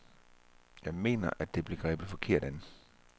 Jeg mener, at det bliver grebet forkert an.